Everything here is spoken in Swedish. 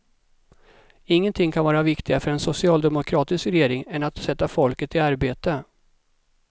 Ingenting kan vara viktigare för en socialdemokratisk regering än att sätta folket i arbete.